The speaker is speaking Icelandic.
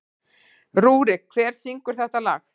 Rúrik, hver syngur þetta lag?